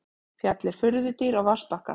Fjallið furðudýr á vatnsbakka.